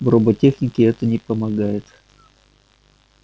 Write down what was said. в роботехнике это не помогает